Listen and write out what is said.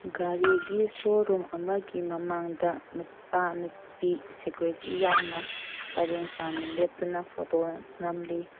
ꯒꯥꯔꯤꯒꯤ ꯁꯣꯔꯨꯝ ꯑꯃꯒꯤ ꯃꯃꯥꯡꯗ ꯅꯨꯄꯥ ꯅꯨꯄꯤ ꯁꯦꯀꯨꯔꯤꯇꯤ ꯌꯥꯎꯅ ꯄꯔꯦꯡ ꯁꯥꯟꯅ ꯂꯦꯞꯇꯨꯅ ꯐꯣꯇꯣ ꯅꯝꯂꯤ꯫